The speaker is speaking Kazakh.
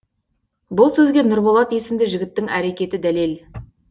бұл сөзге нұрболат есімді жігіттің әрекеті дәлел